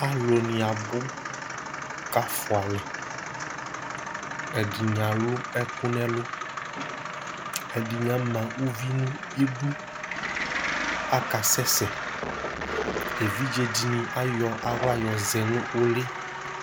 Alu ni abʋ kʋ afʋalɛ Ɛdiní alʋ ɛkʋ nʋ ɛlu Ɛdiní ama ʋvi nʋ idu, akasɛsɛ Evidze dìní ayɔ aɣla yɔ zɛ nʋ ʋli